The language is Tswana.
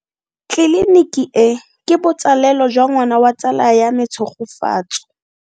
Tleliniki e, ke botsalelo jwa ngwana wa tsala ya me Tshegofatso.